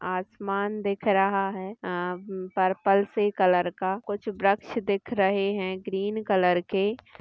आसमान दिख रहा है अ पर्पल से कलर का कुछ वृक्ष दिख रहे है ग्रीन कलर के--